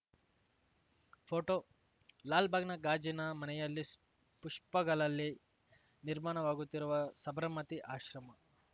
photo ಲಾಲ್‌ಬಾಗ್‌ನ ಗಾಜಿನ ಮನೆಯಲ್ಲಿ ಪುಷ್ಪಗಳಲ್ಲಿ ನಿರ್ಮಾಣವಾಗುತ್ತಿರುವ ಸಬರಮತಿ ಆಶ್ರಮ